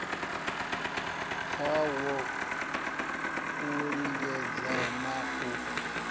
kwawo u lingedza ha u